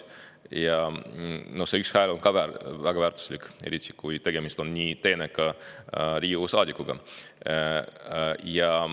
Aga see üks hääl on ka väga väärtuslik, eriti kui tegemist on nii teeneka Riigikogu liikmega.